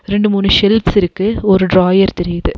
ரெண்டு மூணு ஷேல்ஃப்ஸ் இருக்கு ஒரு ட்ராயர் தெரியிது.